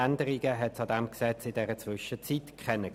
Änderungen gab es in der Zwischenzeit keine.